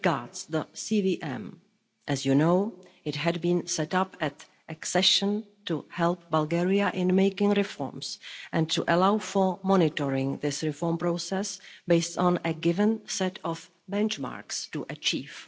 regards the CVM, as you know, it had been set up at accession to help Bulgaria in making reforms and to allow for monitoring this reform process based on a given set of benchmarks to achieve.